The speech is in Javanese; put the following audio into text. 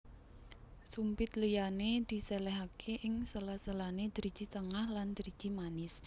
Sumpit liyane diselehake ing sela selane driji tengah lan driji manis